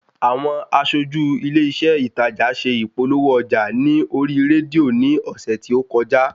Àwọn aṣójú ilé iṣé ìtajà ṣe ìpolówó ọjà ní orí rédíò ní ọ̀sẹ̀ tí ókojá